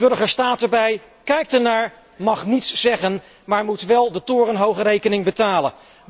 De burger staat erbij, kijkt ernaar, mag niets zeggen, maar moet wel de torenhoge rekening betalen.